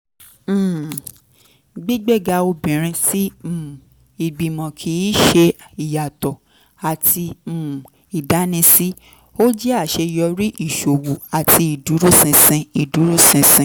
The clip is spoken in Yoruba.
um gbígbéga obìnrin sí um ìgbìmọ̀ kì í ṣe ìyàtọ̀ àti um ìdánisí; ó jẹ́ àṣeyọrí ìṣòwò àti ìdúróṣinṣin. ìdúróṣinṣin.